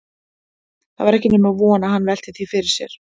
Það var ekki nema von að hann velti því fyrir sér.